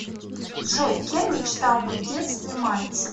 джой кем мечтал быть в детстве мальцев